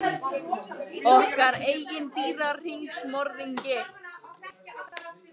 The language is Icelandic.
Okkar eigin dýrahringsmorðingi.